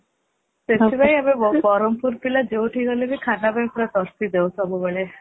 ସେଥିପାଇଁ ଆମେ ବ୍ରହ୍ମପୁର ପିଲା ଯଉଠି କି ଗଲେ ବି ଖାନା ପାଇଁ ପୁରା ତରସି ଯାଉ ସବୁବେଳେ